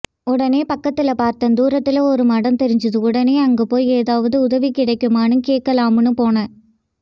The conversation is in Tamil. உடனே பக்கத்துல பார்த்தான் தூரத்துல ஒரு மடம் தெரிஞ்சது உடனே அங்க போய் எதாவது உதவி கிடைக்குமான்னு கேட்கலாம்னு போனான்